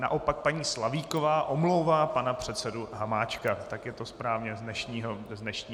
Naopak paní Slavíková omlouvá pana předsedu Hamáčka, ak je to správně, z dnešního jednání.